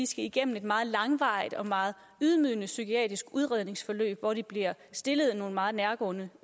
skal igennem et meget langvarigt og meget ydmygende psykiatrisk udredningsforløb hvor de bliver stillet nogle meget nærgående